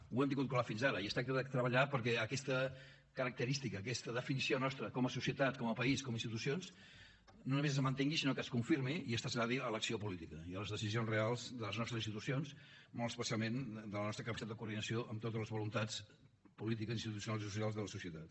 ho hem tingut clar fins ara i es tracta de treballar perquè aquesta característica aquesta definició nostra com a societat com a país com a institucions no només es mantingui sinó que es confirmi i es traslladi a l’acció política i a les decisions reals de les nostres institucions molt especialment de la nostra capacitat de coordinació amb totes les voluntats polítiques institucionals i socials de la societat